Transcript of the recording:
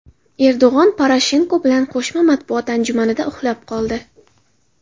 Erdo‘g‘on Poroshenko bilan qo‘shma matbuot anjumanida uxlab qoldi .